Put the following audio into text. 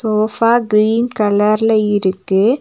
Sofa green கலர்ல இருக்கு.